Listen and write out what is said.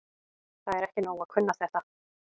Það er ekki nóg að kunna þetta.